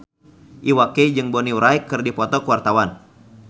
Iwa K jeung Bonnie Wright keur dipoto ku wartawan